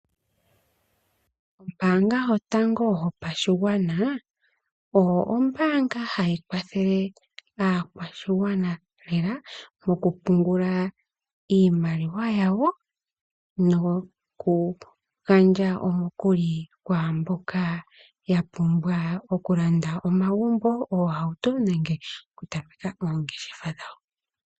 Ombaanga yotango yopashigwana, oyo ombaanga hayi kwathele aakwashigwana lela, moku pungula iimaliwa yawo, noku gandja omukuli kwaamboka ya pumbwa okulanda omagumbo, oohauto, nenge oku tameka oongeshefa dhawo.